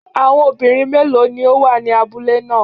Àwọn obìnrin méèló ni ó wà ní abúlé ná à?